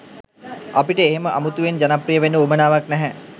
අපිට එහෙම අමුතුවෙන් ජනප්‍රිය වෙන්න වුවමනාවක් නැහැ.